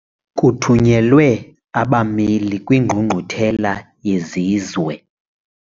Kuthunyelwe abameli kwingqungquthela yezizwe.